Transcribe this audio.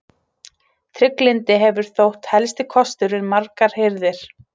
Trygglyndi hefur þótt helsti kostur við margar hirðir.